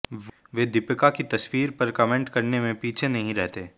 वे दीपिका की तस्वीर पर कमेंट करने में पीछे नहीं रहते